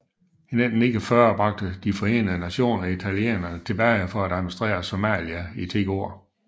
I 1949 bragte De Forenede Nationer italienerne tilbage for at administrere Somalia i 10 år